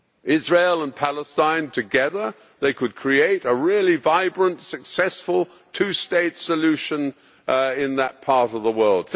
Israel and Palestine together, they could create a really vibrant successful two state solution in that part of the world.